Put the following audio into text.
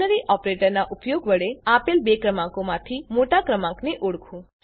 ternary operator નાં ઉપયોગ વડે આપેલ બે ક્રમાંકોમાંથી મોટા ક્રમાંકને ઓળખો